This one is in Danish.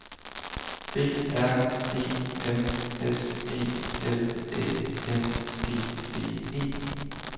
B R E M S E L Æ N G D E